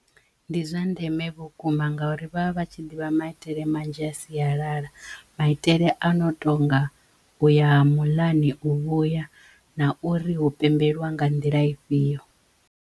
Ndi zwa ndeme vhukuma ngauri vha vha tshi ḓivha maitele manzhi a sialala maitele a no tonga uya muḽani, u vhuya na uri hu pembelwa nga nḓila ifhio.